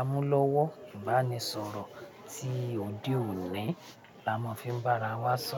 amúlọ́wọ́ ìbánisọ̀rọ̀ tí òde òní la máa fi ń bá ara wa sọ̀rọ̀